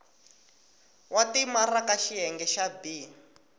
wa timaraka xiyenge xa b